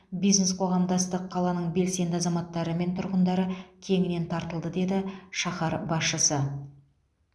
бизнес қоғамдастық қаланың белсенді азаматтары мен тұрғындары кеңінен тартылды деді шаһар басшысы